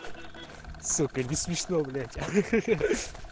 сука не смешно блять ха-ха